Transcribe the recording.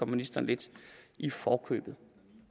ministeren lidt i forkøbet